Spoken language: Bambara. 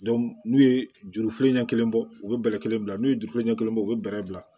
n'u ye jurufilen ɲɛ kelen bɔ u bɛ bɛlɛ kelen bila n'u ye juru ɲɛ kelen bɔ u bɛ bɛlɛ bila